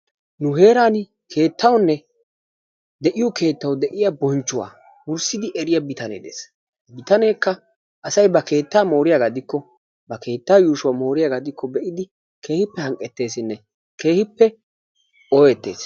Nu heeran keettawunne de"iyoo keettawu de"iyaa bonchchuwaa wurssidi eriya bitanee de'ees. Bitaneekka asay ba keettaa mooriyaagaa gidikko ba keettaa yuushuwaa mooriyaagaa gidikko keehippe hanqqetteesinne keehippe ohettes.